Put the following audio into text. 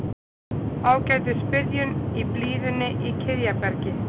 Ágætis byrjun í blíðunni í Kiðjabergi